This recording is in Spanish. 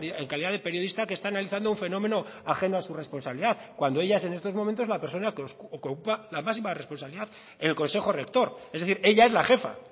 en calidad de periodista que está analizando un fenómeno ajeno a su responsabilidad cuando ella es en estos momentos la persona que ocupa la máxima responsabilidad en el consejo rector es decir ella es la jefa